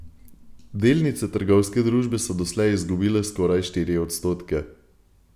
Delnice trgovske družbe so doslej izgubile skoraj štiri odstotke.